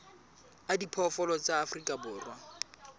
a diphoofolo tsa afrika borwa